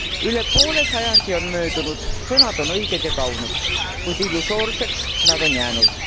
Üle poole sajandi on möödunud, sõnad on õiged ja kaunid, kuid illusoorseks nad on jäänud.